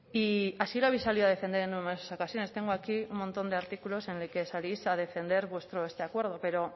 y así lo habéis salido a defender en numerosas ocasiones tengo aquí un montón de artículos en el que salís a defender este acuerdo pero